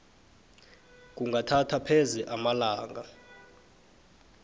kungathatha pheze amalanga